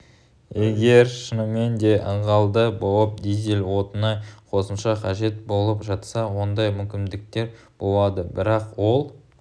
егер шынымен де ылғалды болып дизель отыны қосымша қажет болып жатса ондай мүмкіндіктер болады бірақ ол